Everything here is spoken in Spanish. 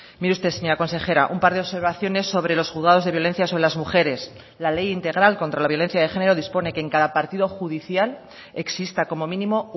mire usted señora consejera un par de observaciones sobre los juzgados de violencia sobre las mujeres la ley integral contra la violencia de género dispone que en cada partido judicial exista como mínimo